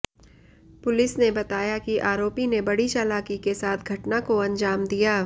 police ने बताया कि आरोपी ने बड़ी चालाकी के साथ घटना को अंजाम दिया